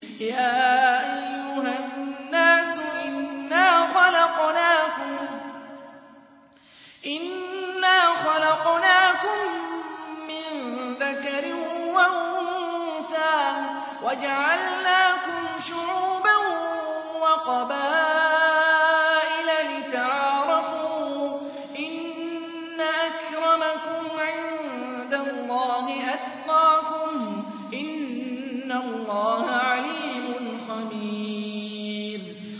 يَا أَيُّهَا النَّاسُ إِنَّا خَلَقْنَاكُم مِّن ذَكَرٍ وَأُنثَىٰ وَجَعَلْنَاكُمْ شُعُوبًا وَقَبَائِلَ لِتَعَارَفُوا ۚ إِنَّ أَكْرَمَكُمْ عِندَ اللَّهِ أَتْقَاكُمْ ۚ إِنَّ اللَّهَ عَلِيمٌ خَبِيرٌ